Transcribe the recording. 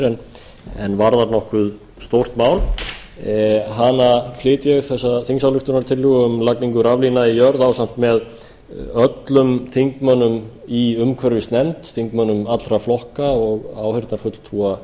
sér en varðar nokkuð stórt mál þessa þingsályktunartillögu um lagningu raflína í jörð flyt ég ásamt með öllum þingmönnum í umhverfisnefnd þingmönnum allra flokka og áheyrnarfulltrúa